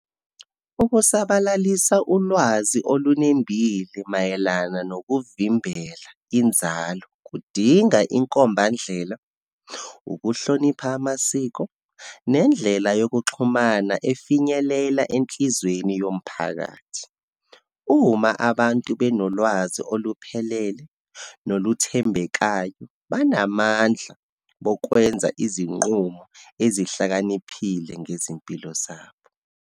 Ukusabalalisa ulwazi olunembile mayelana nokuvimbela inzalo, kudinga inkombandlela, ukuhlonipha amasiko, nendlela yokuxhumana efinyelela enhlizweni yomphakathi. Uma abantu benolwazi oluphelele, noluthembekayo, banamandla bokwenza izinqumo ezihlakaniphile ngezimpilo zabo.